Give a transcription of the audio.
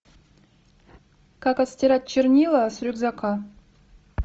как отстирать чернила с рюкзака